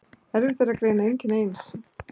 Erfitt er að greina einkenni eins